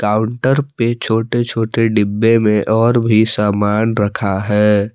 Counter पे छोटे छोटे डिब्बे में और भी सामान रखा है।